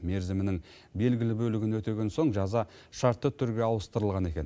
мерзімінің белгілі бөлігін өтеген соң жаза шартты түрге ауыстырылған екен